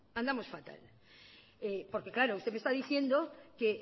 andamos fatal porque claro usted me está diciendo que